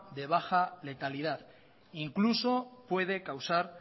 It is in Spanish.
de baja letalidad incluso puede causar